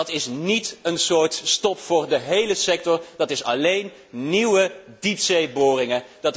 Dat is niet een soort stop voor de hele sector, dat geldt alleen voor nieuwe diepzeeboringen.